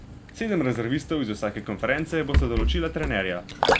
Sedem rezervistov iz vsake konference bosta določila trenerja.